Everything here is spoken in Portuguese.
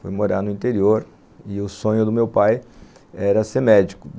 foi morar no interior, e o sonho do meu pai era ser médico.